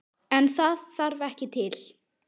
En það þarf ekki til.